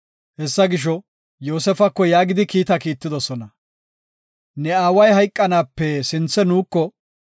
Hessa gisho, Yoosefako yaagidi kiita kiittidosona; “Ne aaway hayqanaape sinthe nuuko,